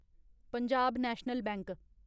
Punjab National bank